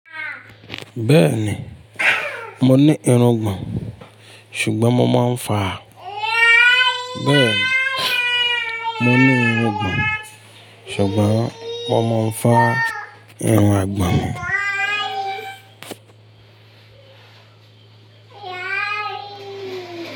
Bẹ́ẹ̀ni, mo ní irun gbọ̀n, ṣùgbọ́n mo máa ń fa bẹ́ẹ̀ni, mo ní irun gbùn, ṣùgbọ́n mo máa ń fa irun àgbọn mi.